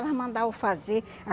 Elas mandavam fazer.